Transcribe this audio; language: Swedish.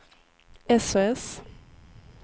sos